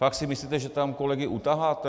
Fakt si myslíte, že tam kolegy utaháte?